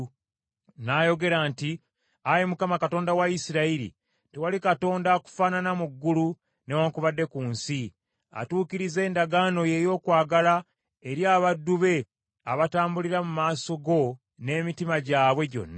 N’ayogera nti, “Ayi Mukama Katonda wa Isirayiri tewali Katonda akufaanana mu ggulu newaakubadde ku nsi, atuukiriza endagaano ye ey’okwagala eri abaddu be abatambulira mu maaso ge n’emitima gyabwe gyonna.